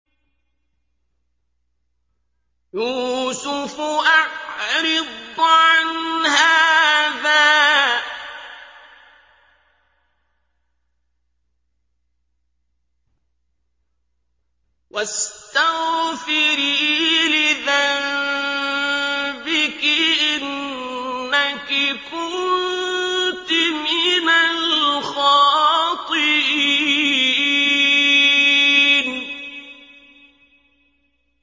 يُوسُفُ أَعْرِضْ عَنْ هَٰذَا ۚ وَاسْتَغْفِرِي لِذَنبِكِ ۖ إِنَّكِ كُنتِ مِنَ الْخَاطِئِينَ